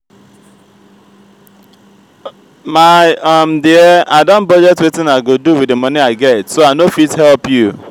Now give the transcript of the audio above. my um dear i don budget wetin i go do with the money i get so i no fit help you